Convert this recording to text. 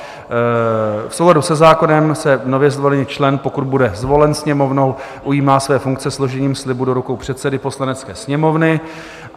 V souladu se zákonem se nově zvolený člen, pokud bude zvolen Sněmovnou, ujímá své funkce složením slibu do rukou předsedy Poslanecké sněmovny.